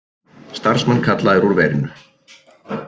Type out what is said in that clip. Starfsmenn kallaðir úr verinu